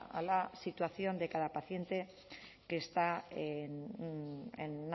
a la situación de cada paciente que está en